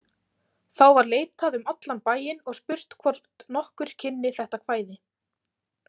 Þá var leitað um allan bæinn og spurt hvort nokkur kynni þetta kvæði.